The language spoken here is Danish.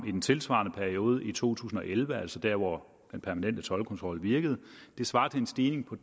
i den tilsvarende periode i to tusind og elleve altså der hvor den permanente toldkontrol virkede det svarer til en stigning på